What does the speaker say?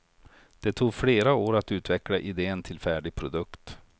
Det tog flera år att utveckla idén till färdig produkt.